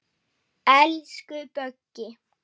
Elsku Böggi.